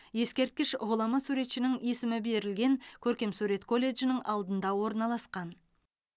ескерткіш ғұлама суретшінің есімі берілген көркемсурет колледжінің алдында орналасқан